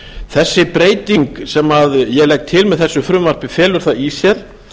þessi breyting sem ég legg til með þessu frumvarpi felur það í sér